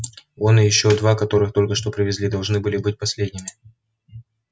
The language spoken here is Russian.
он и ещё два которых только что привезли должны были быть последними